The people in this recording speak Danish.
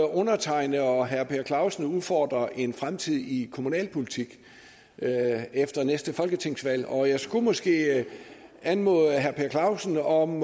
undertegnede og herre per clausen udfordrer en fremtid i kommunalpolitik efter næste folketingsvalg og jeg skulle måske anmode herre per clausen om